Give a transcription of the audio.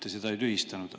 Te seda ei tühistanud.